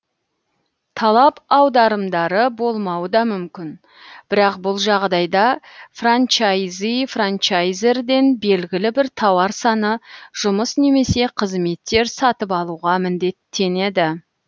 талап аударымдары болмауы да мүмкін бірақ бұл жағдайда франчайзи франчайзерден белгілі бір тауар саны жұмыс немесе қызметтер сатып алуға міндеттенеді